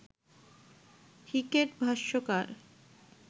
cricket ভাষ্যকার